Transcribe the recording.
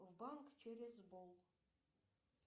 в банк через бол